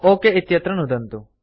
okay इत्यत्र नुदन्तु